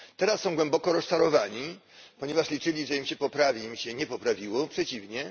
teraz są głęboko rozczarowani, ponieważ liczyli, że im się poprawi, ale im się nie poprawiło, przeciwnie.